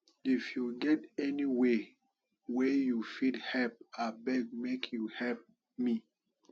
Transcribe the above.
if you get any way wey you fit help abeg make you help me